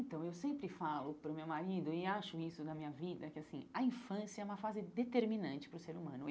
Então, eu sempre falo para o meu marido, e acho isso na minha vida, que assim a infância é uma fase determinante para o ser humano.